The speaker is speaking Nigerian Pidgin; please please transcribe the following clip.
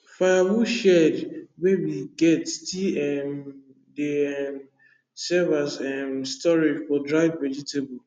firewood shed wey we get still um dey um serve as um storage for dried vegetable